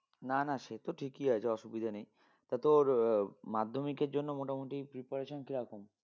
না না সে তো ঠিকই আছে অসুবিধা নেই তা তোর আহ মাধ্যমিকের জন্য মোটামোটি preparation কিরকম?